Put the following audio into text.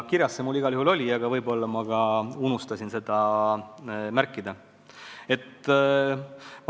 Kirjas see mul igal juhul oli, aga võib-olla ma unustasin seda märkida.